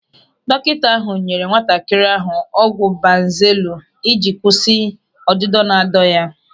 Dọkịta ahụ nyere nwatakịrị ahụ ọgwụ banzelu ị ji kwụsị ihe ọdịdọ na-adọ ya.